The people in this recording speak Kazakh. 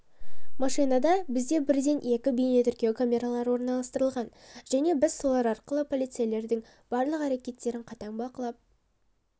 машинада бізде бірден екі бейнетіркеу камералары орналастырылған және біз солар арқылы полицейлердің барлық әрекеттерін қатаң бақылап